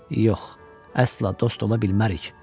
Yox, əsla dost ola bilmərik.